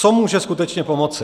Co může skutečně pomoci?